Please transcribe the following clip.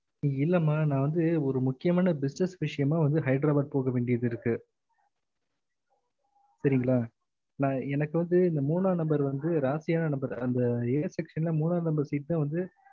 இல்லம்மா நா வந்து ஒரு முக்கியமான business விஷயம்மா ஹைதராபாத் போக வேண்டியது இருக்கு சரிங்கள நா எனக்கு வந்து இந்த மூணா number வந்து ராசியான number அந்த a section ல மூணா number seat தா வந்து